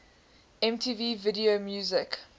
mtv video music